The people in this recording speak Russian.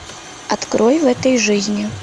открой в этой жизни